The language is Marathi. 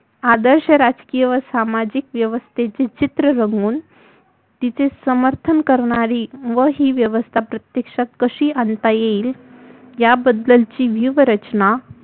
आदर्श राजकीय व सामाजिक व्यवस्थतेचे चित्र रंगवून तिचे समर्थन करणारी व व्यवस्था प्रत्यक्षात कशी आणता येईल या बद्दलची जीव रचना